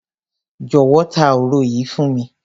Jọ̀wọ́, ta òro yìí fún mi.